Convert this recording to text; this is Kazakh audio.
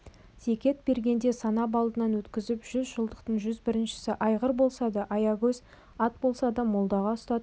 зекет бергенде санап алдынан өткізіп жүз жылқыдан жүз біріншісі айғыр болса да аягөз ат болса да молдаға ұстатып